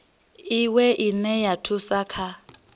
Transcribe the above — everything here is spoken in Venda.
iwe ine ya thusa kha